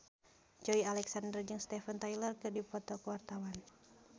Joey Alexander jeung Steven Tyler keur dipoto ku wartawan